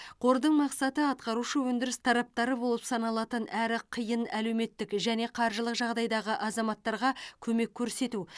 қордың мақсаты атқарушы өндіріс тараптары болып саналатын әрі қиын әлеуметтік және қаржылық жағдайдағы азаматтарға көмек көрсету